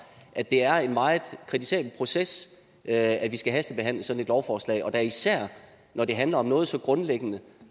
at det er en meget kritisabel proces at vi skal hastebehandle sådan et lovforslag og da især når det handler om noget så grundlæggende